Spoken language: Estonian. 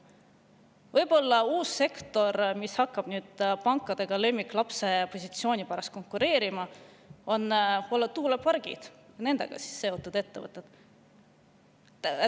Võib-olla uus sektor, mis hakkab pankadega lemmiklapse positsiooni pärast konkureerima, ongi tuulepargid ja nendega seotud ettevõtted.